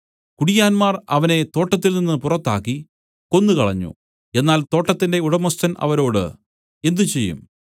കുടിയാന്മാർ അവനെ തോട്ടത്തിൽ നിന്നു പുറത്താക്കി കൊന്നുകളഞ്ഞു എന്നാൽ തോട്ടത്തിന്റെ ഉടമസ്ഥൻ അവരോട് എന്ത് ചെയ്യും